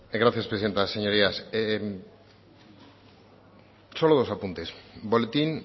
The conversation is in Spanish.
gracias presidenta señorías solo dos apuntes boletín